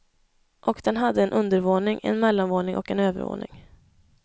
Och den hade en undervåning, en mellanvåning och en övervåning.